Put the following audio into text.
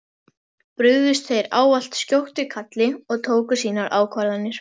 Brugðust þeir ávallt skjótt við kalli og tóku sínar ákvarðanir.